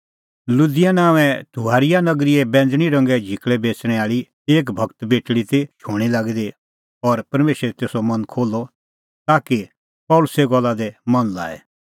लुदिआ नांओंए थुआथिरा नगरीए बैंज़णीं रंगे झिकल़ै बेच़णैं आल़ी एक भगत बेटल़ी ती शूणीं लागी दी और परमेशरै तेसो मन खोल्हअ ताकि पल़सीए गल्ला दी मन लाए